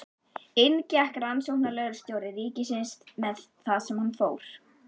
Inn gekk rannsóknarlögreglustjóri ríkisins með þann sem fór.